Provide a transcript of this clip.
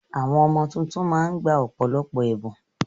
Àwọn ọmọ tuntun ma ń gba ọ̀pọ̀lọpọ̀ ẹ̀bùn.